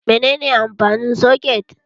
Menene amfanin soket?